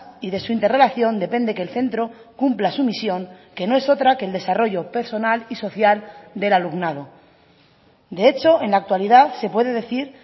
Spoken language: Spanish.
y de su interrelación depende que el centro cumpla su misión que no es otra que el desarrollo personal y social del alumnado de hecho en la actualidad se puede decir